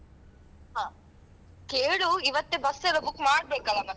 ಹ ಕೇಳು ಇವತ್ತೇ bus ಎಲ್ಲಾ book ಮಾಡ್ಬೇಕಲಾ ಮತ್ತೆ?